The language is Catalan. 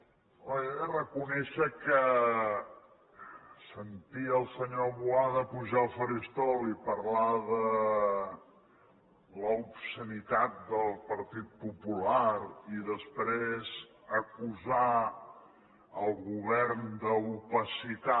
home jo he de reconèixer que sentir el senyor boada pujar al faristol i parlar de l’ obscenitat del partit popular i després acusar el govern d’opacitat